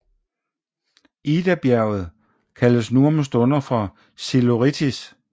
Idabjerget kaldes nu om stunder for Psilorítis